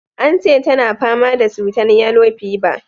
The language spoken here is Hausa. Ance tana fama da cutan yellow fever.